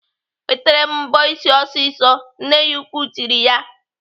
"Wetere m mbọ ịsị ọsịsọ!" Nne ya ukwuu tiri ya.